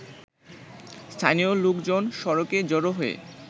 স্থানীয় লোকজন সড়কে জড়ো হয়ে